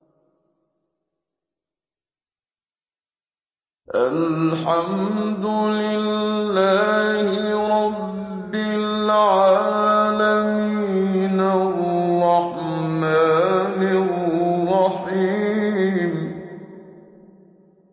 الرَّحْمَٰنِ الرَّحِيمِ